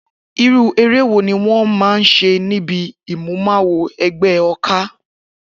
Irú eré wo ni wó̩n máa ń s̩e níbi ìmúmawo e̩gbé̩ o̩ká?